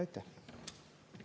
Aitäh!